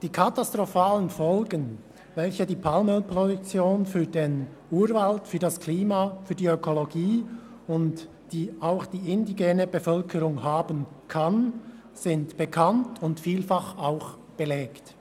Die katastrophalen Folgen, die die Palmölproduktion für den Urwald, das Klima, die Ökologie und die indigene Bevölkerung haben kann, sind bekannt und vielfach auch belegt.